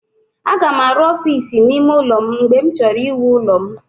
Aga m arụ ọfiisi n'ime ụlọ m mgbe m chọrọ iwu ụlọ m.